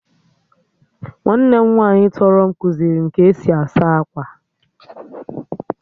Nwanne m nwaanyị tọrọ m kuziri m ka-esi asa akwa